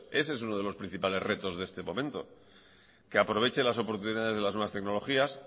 ese es uno de los principales retos de este momento que aproveche las oportunidades de las nuevas tecnologías